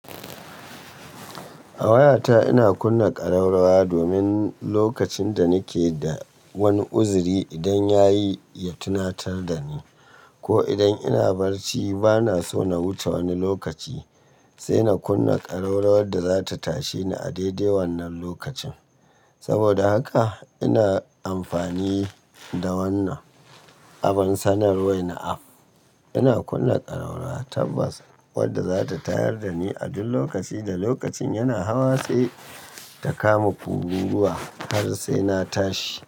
A wayata ina kunna ƙararrawa domin lokacin da nike da wani uzuri idan yayi ya tuna tar da ni ko idan ina barci bana so na wuce wani lokaci sai na kunna ƙararrawar da zata tashe ni a daidai wannan lokacin. Saboda haka ina amfani da wannan abin sanarwa na app. Ina kunna ƙararrawa tabbas wadda zata tayar da ni a duk lokaci da lokacin yana hawa sai ta kama kururuwa har sai na tashi.